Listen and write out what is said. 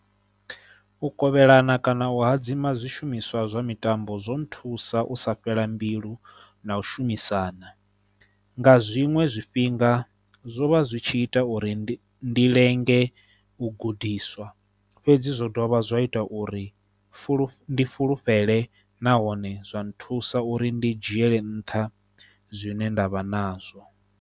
U kovhelana kana u hadzima zwishumiswa zwa mitambo zwo nthusa u sa fhela mbilu na u shumisana nga zwiṅwe zwifhinga zwo vha zwi tshi ita uri ndi ndi lenge u gudiswa fhedzi zwo dovha zwa ita uri fulufhuwa ndi fhulufhele nahone zwa nthusa uri ndi dzhiele nṱha zwine nda vha nazwo.